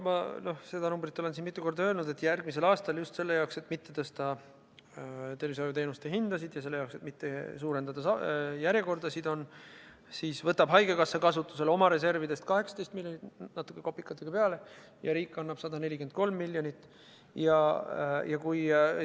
Ma olen seda numbrit siin mitu korda öelnud – järgmisel aastal just selle jaoks, et mitte tõsta tervishoiuteenuste hindasid, ja selle jaoks, et mitte pikendada järjekordasid, võtab haigekassa oma reservidest kasutusele 18 miljonit eurot, natuke kopikaid peale, ja riik annab 143 miljonit eurot juurde.